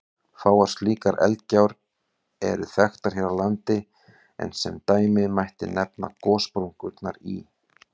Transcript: Fáar slíkar eldgjár eru þekktar hér á landi, en sem dæmi mætti nefna gossprungurnar í